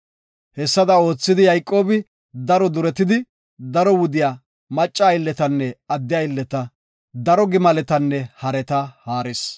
Hessada oothidi Yayqoobi daro duretidi, daro wudiya, macca aylletanne adde aylleta, daro gimaletanne hareta haaris.